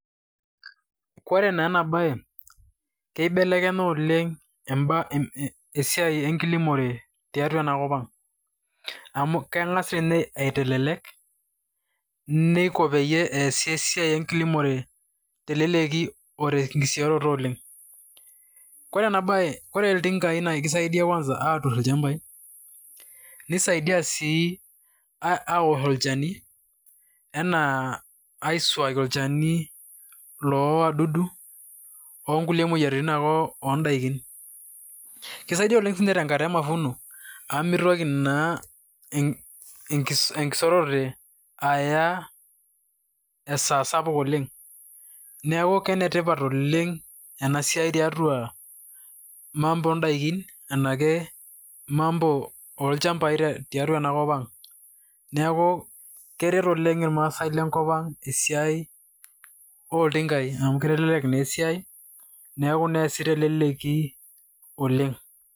Kore naa enabaye keibelenya oleng' emba esiai enkilimore tiatua ena kop ang' amu keng'as tinye aitelelek, niko peyie easi esia enkilimore teleleki o tenkisioroto oleng'. Kore ena baye kore ilting'ai i naa kisaidia kwanza atur ilchambai, nisaidia sii awosh olchani enaa aisuaki olchani loo wadudu o nkulie moyiaritin ake o ndaikin. Kisaidi oleng' siinye tenkata e mavuno amu mitoki naa enkisorote aya esaa sapuk oleng', neeku kenetipat oleng' ena siai tiatua mambo o ndaikin enake mambo olcambai tiatua ena kop ang'. Neeku keret oleng' irmaasai lenkop ang' esiai olting'ai amu kitelelek naa esiai neeku naaeesi teleleki oleng'.